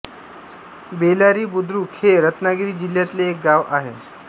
बेलारी बुद्रुक हे रत्नागिरी जिल्ह्यातले एक गाव आहे